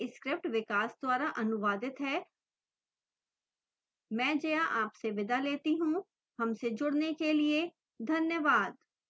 यह script विकास द्वारा अनुवादित है मैं जया अब आपसे विदा लेती हूँ हमसे जुडने के लिए धन्यवाद